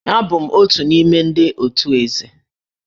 Abụ m otu n'ime ndị otù Eze